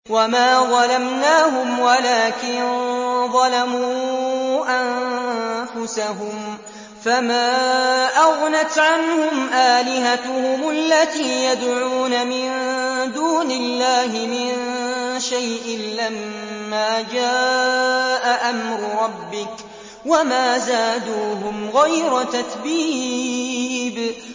وَمَا ظَلَمْنَاهُمْ وَلَٰكِن ظَلَمُوا أَنفُسَهُمْ ۖ فَمَا أَغْنَتْ عَنْهُمْ آلِهَتُهُمُ الَّتِي يَدْعُونَ مِن دُونِ اللَّهِ مِن شَيْءٍ لَّمَّا جَاءَ أَمْرُ رَبِّكَ ۖ وَمَا زَادُوهُمْ غَيْرَ تَتْبِيبٍ